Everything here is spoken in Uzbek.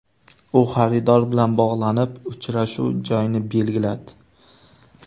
U xaridor bilan bog‘lanib uchrashuv joyini belgiladi.